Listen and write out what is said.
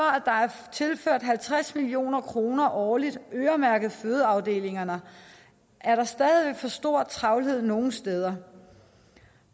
at tilført halvtreds million kroner årligt øremærket til fødeafdelingerne er der stadig væk for stor travlhed nogle steder